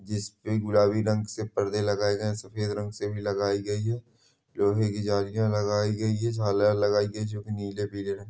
जिस पे गुलाबी रंग से परदे लगाए गए है सफ़ेद रंग से भी लगाए गयी है लोहे की जालियाँ लगाई गयी है झालर लगाई गयी है जो की नीले पीले रंग--